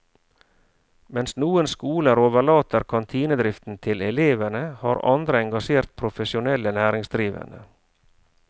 Mens noen skoler overlater kantinedriften til elevene, har andre engasjert profesjonelle næringsdrivende.